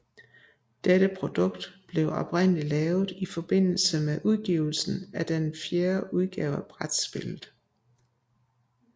Dette produkt blev oprindeligt lavet i forbindelse med udgivelsen af den fjerde udgave af brætspillet